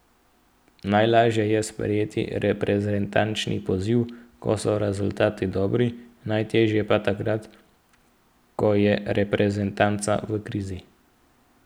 Najlažje je sprejeti reprezentančni poziv, ko so rezultati dobri, najtežje pa takrat, ko je reprezentanca v krizi.